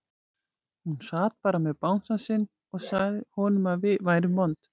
Hún sat bara með bangsann sinn og sagði honum að við værum vond.